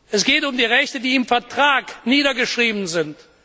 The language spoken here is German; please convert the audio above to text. Es geht um die Rechte, die im Vertrag niedergeschrieben sind.